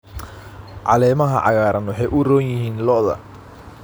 Caleemaha cagaaran waxay u roon yihiin lo'da.